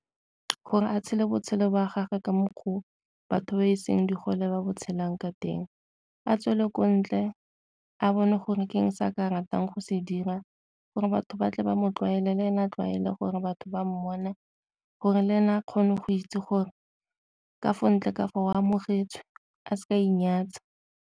Gore a tshele botshelo gagwe ka mokgwa oo batho ba e seng di gole ba ba tshelang ka teng. A tswele ko ntle a bone gore ke eng se a ka ratang go se dira gore batho ba tle ba mo tlwaele le ene a tlwaele gore batho ba mmona gore le ena a kgone go itse gore ka fa ntle kafa o amogetswe a seka a inyatsa.